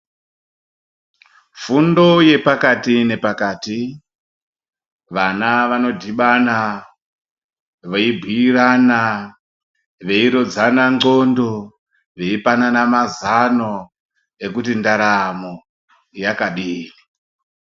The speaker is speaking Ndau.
Fundo yepakati nepakati, vana vanodhibana veibhuirana, veirodzane ndxondo, veipanana mazano ekuti ndaramo yakadini.